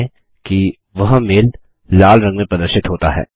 ध्यान दें कि वह मेल लाल रंग में प्रदर्शित होता है